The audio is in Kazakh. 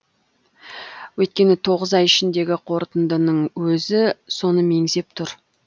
өйткені тоғыз ай ішіндегі қорытындының өзі соны меңзеп тұр